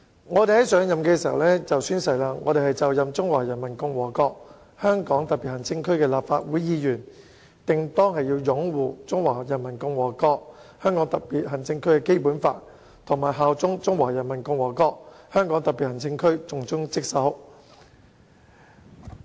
我們在上任前會讀出以下誓言：本人就任中華人民共和國香港特別行政區的立法會議員，定當擁護《中華人民共和國香港特別行政區基本法》，效忠中華人民共和國香港特別行政區，盡忠職守。